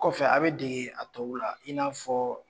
Kɔfɛ a bɛ dege a tow la i n'a fɔ.